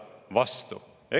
vastu.